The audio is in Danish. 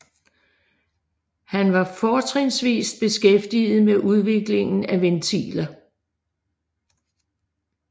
Han var fortrinsvist beskæftiget med udviklingen af ventiler